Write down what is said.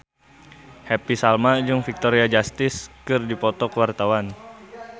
Happy Salma jeung Victoria Justice keur dipoto ku wartawan